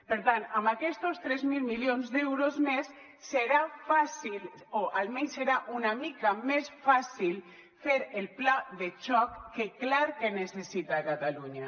per tant amb aquestos tres mil milions d’euros més serà fàcil o almenys serà una mica més fàcil fer el pla de xoc que clar que necessita catalunya